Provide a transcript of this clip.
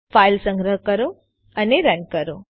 file સંગ્રહ કરો અને રન કરો